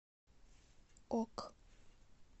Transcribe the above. ок